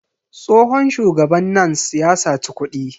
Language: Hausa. Tsohon shugaban NANS ya saci kuɗi.